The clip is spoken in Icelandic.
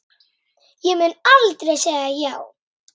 Ég mun aldrei segja já.